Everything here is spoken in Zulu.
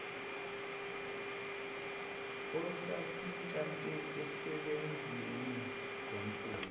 esasintanta osebeni lomfula